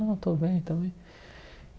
Não, eu estou bem estou bem.